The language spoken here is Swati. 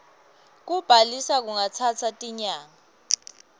kubhalisa kungatsatsa tinyanga